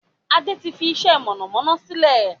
Adé tí fi iṣẹ́ mọ̀nàmọ́ná sílẹ̀